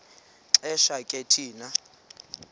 xesha ke thina